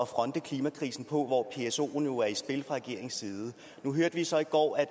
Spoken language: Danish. fronte klimakrisen på hvor psoen jo er i spil fra regeringens side nu hørte vi så i går at